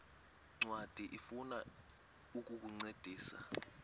ncwadi ifuna ukukuncedisa